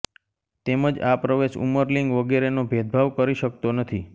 તેમજ આ પ્રવેશ ઉમરલિંગ વગેરેનો ભેદભાવ કરી શક્તો નથી